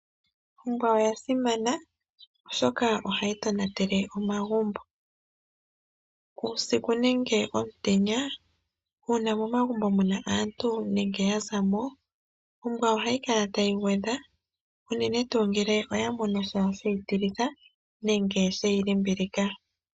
Ombwa ohayi kala tayi tonatele omagumbo uusiku nomutenya, uuna momagumbo muna aantu nenge yazamo ombwa ohayi kala tayi gwedha unene tuu ngele oya monasha sheyi limbilika.